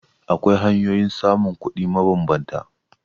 Akwai hanyoyin samun kuɗi mabambanta.